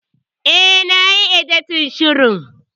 E, na yi editin shirin.